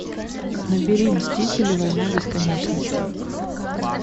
набери мстители война бесконечности